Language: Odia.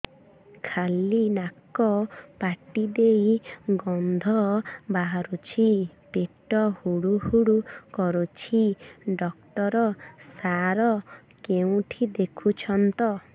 ଖାଲି ନାକ ପାଟି ଦେଇ ଗଂଧ ବାହାରୁଛି ପେଟ ହୁଡ଼ୁ ହୁଡ଼ୁ କରୁଛି ଡକ୍ଟର ସାର କେଉଁଠି ଦେଖୁଛନ୍ତ